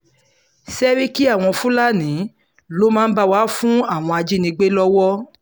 ṣẹ́ríkí àwọn fúlàní ló máa ń bá wa fún àwọn ajínigbé lọ́wọ́